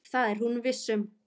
Það er hún viss um.